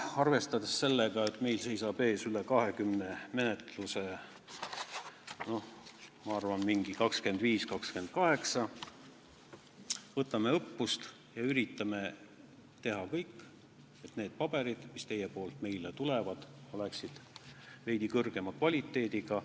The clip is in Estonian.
Arvestades sellega, et meil seisab ees üle 20 menetluse – ma arvan, et 25 või 28 –, võtame õppust ja üritame teha kõik, et need paberid, mis teilt meile tulevad, oleksid veidi parema kvaliteediga.